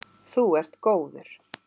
Þú ert góður.